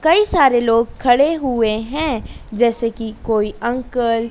कई सारे लोग खडे हुए है जैसे कि कोई अंकल --